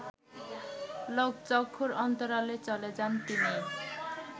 লোকচক্ষুর অন্তরালে চলে যান তিনি